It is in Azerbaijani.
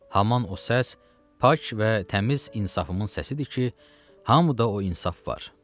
Haman o səs pak və təmiz insafımın səsidir ki, hamıda o insaf var.